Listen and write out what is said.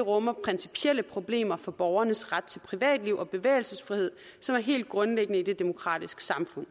rummer principielle problemer for borgernes ret til privatliv og bevægelsesfrihed som er helt grundlæggende i et demokratisk samfund